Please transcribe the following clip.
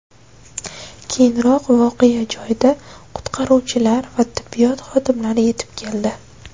Keyinroq voqea joyiga qutqaruvchilar va tibbiyot xodimlari yetib keldi.